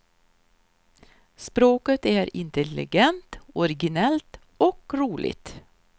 Språket är intelligent, originellt och roligt.